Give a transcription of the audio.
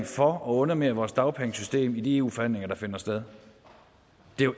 for at underminere vores dagpengesystem i de eu forhandlinger der finder sted